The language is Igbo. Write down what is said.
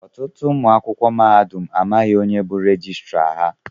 Ọtụtụ ụmụ akwụkwọ mahadum amaghị onye bu rejistra ha.